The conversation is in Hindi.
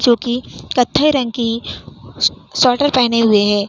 जो कि कत्थई रंग की स्वेटर पहने हुए है।